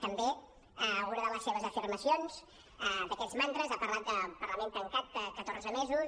també una de les seves afirmacions d’aquests mantres ha parlat del parlament tancat catorze mesos